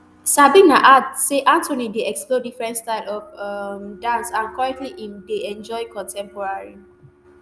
sabina add say anthony dey explore different styles of um dance and currently im dey um enjoy contemporary